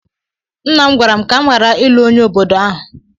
Nna m gwara m ka m ghara ịlụ onye obodo ahụ.